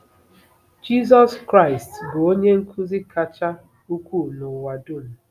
JIZỌS KRAỊST bụ Onye Nkuzi kacha ukwuu n’ụwa dum.